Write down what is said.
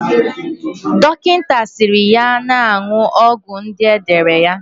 Dokita siri ya na-aṅụ ọgwụ ndi edere ya